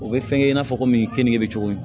O bɛ fɛnkɛ i n'a fɔ komi keninge bɛ cogo min